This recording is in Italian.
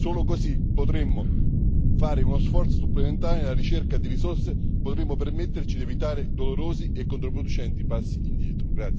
Solo così potremmo fare uno sforzo supplementare nella ricerca di risorse e potremo permetterci di evitare dolorosi e controproducenti passi indietro.